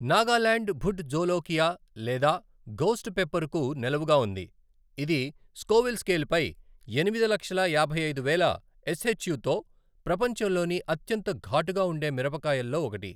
నాగాలాండ్ భుట్ జోలోకియా లేదా ఘోస్ట్ పెప్పర్కు నెలవుగా ఉంది, ఇది స్కోవిల్ స్కేల్పై ఎనిమిది లక్షల యాభై ఐదు వేల ఎస్ఎచ్యూ తో ప్రపంచంలోని అత్యంత ఘాటుగా ఉండే మిరపకాయల్లో ఒకటి.